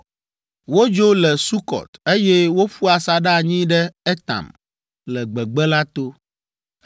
Wodzo le Sukɔt, eye woƒu asaɖa anyi ɖe Etam, le gbegbe la to.